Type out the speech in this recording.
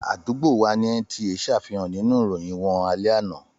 Àdúgbò wà ní NTA ṣàfihàn nínú ìròyìn wọn alẹ́ àná.